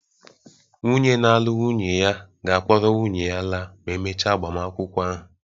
Nwunye na-alụ nwunye ya ga-akpọrọ nwunye ya laa ma e mechaa agbamakwụkwọ ahụ